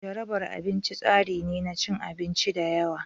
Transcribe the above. Jarabar abinci tsari ne na cin abinci da yawa.